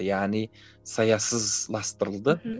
яғни саясыз